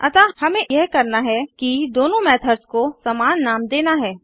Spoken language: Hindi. अतः हमें यह करना है कि दोनों मेथड्स को समान नाम देना है